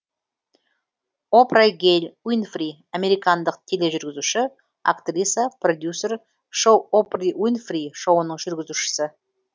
о пра гэйл уи нфри американдық тележүргізуші актриса продюсер шоу опры уинфри шоуының жүргізушісі